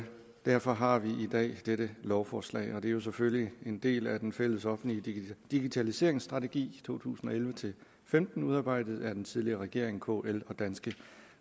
derfor har vi i dag dette lovforslag det er selvfølgelig en del af den fællesoffentlige digitaliseringsstrategi to tusind og elleve til femten udarbejdet af den tidligere regering kl og danske